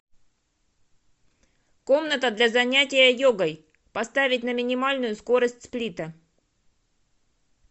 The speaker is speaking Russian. комната для занятия йогой поставить на минимальную скорость сплита